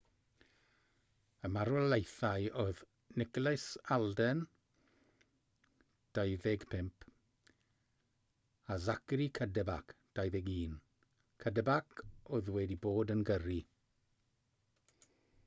y marwolaethau oedd nicholas alden 25 a zachary cuddeback 21 cuddeback oedd wedi bod yn gyrru